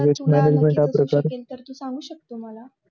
तू सांगू शकतो मला